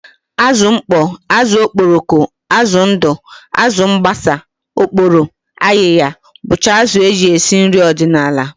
Azụ mkpọ, azụ okporoko, azụ ndụ, azụ mbasa, oporo, ayịya bụcha azụ e ji esi nri ọdịnala